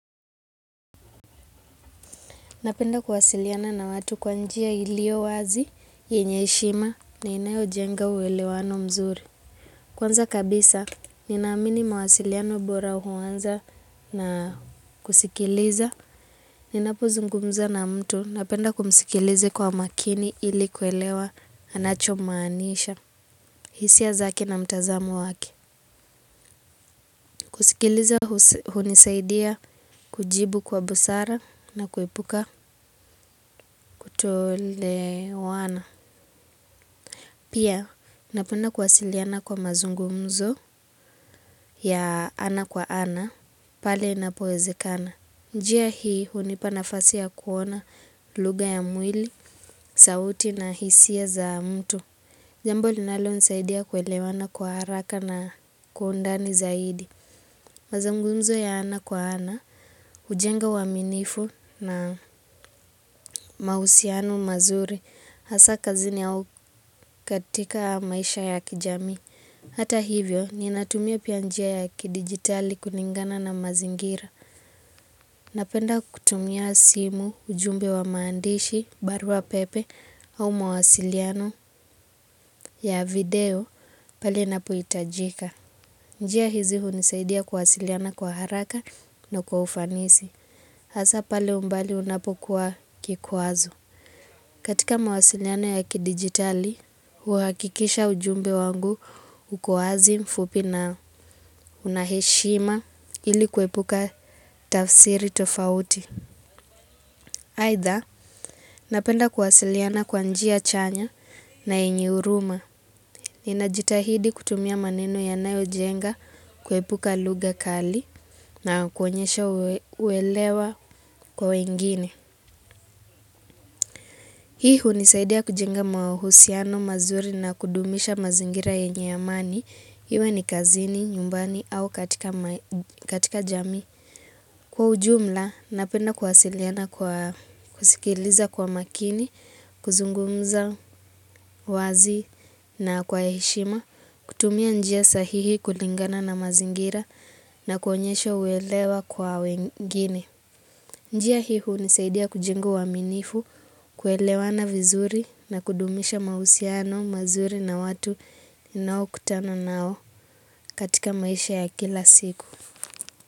Napenda kuwasiliana na watu kwa njia iliyo wazi, yenye heshima na inayojenga uelewano mzuri. Kwanza kabisa, ninaamini mawasiliano bora huanza na kusikiliza. Ninapozungumza na mtu, napenda kumsikiliza kwa makini ili kuelewa anachomaanisha, hisia zake na mtazamo wake. Kusikiliza hunisaidia kujibu kwa busara na kuepuka kutoelewana. Pia, napenda kuwasiliana kwa mazungumzo ya ana kwa ana, pale inapowezekana. Njia hii, hunipa nafasi ya kuona lugha ya mwili, sauti na hisia za mtu. Jambo linalonisaidia kuelewana kwa haraka na kwa undani zaidi. Mazungumzo ya ana kwa ana, hujenga uaminifu na mahusiano mazuri. Hasa kazini au katika maisha ya kijamii. Hata hivyo, ninatumia pia njia ya kidigitali kulingana na mazingira. Napenda kutumia simu, ujumbe wa maandishi, barua pepe, au mawasiliano ya video pale inapohitajika. Njia hizi hunisaidia kuwasiliana kwa haraka na kwa ufanisi. Hasa pale umbali unapokuwa kikwazo. Katika mawasiliano ya kidigitali, huhakikisha ujumbe wangu uko wazi, mfupi na una heshima ili kuepuka tafsiri tofauti. Aidha, napenda kuwasiliana kwa njia chanya na yenye huruma. Ninajitahidi kutumia maneno yanayojenga kuepuka lugha kali na kuonyesha uelewa kwa wengine. Hii hunisaidia kujenga mahusiano mazuri na kudumisha mazingira yenye amani. Iwe ni kazini, nyumbani au katika jamii. Kwa ujumla, napenda kuwasiliana kwa kusikiliza kwa makini, kuzungumza wazi na kwa heshima. Kutumia njia sahihi kulingana na mazingira na kuonyesha uelewa kwa wengine. Njia hii hunisaidia kujenga uaminifu, kuelewana vizuri na kudumisha mahusiano, mazuri na watu. Nao kutana nao katika maisha ya kila siku.